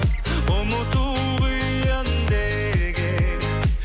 ұмыту қиын деген